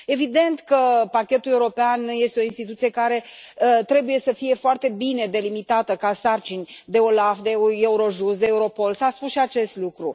Evident că Parchetul European este o instituție care trebuie să fie foarte bine delimitată ca sarcini de Olaf, de Eurojust, de Europol, s a spus și acest lucru.